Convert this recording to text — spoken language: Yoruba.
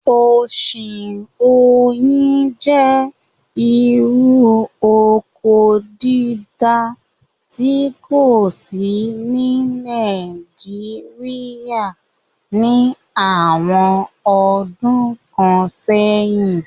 Ọ̀sìn oyin jẹ́ irú oko dídá tí kò sí ní Naijiria ní àwọn ọdún kan sẹ̀yín